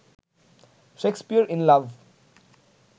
Shakespeare in love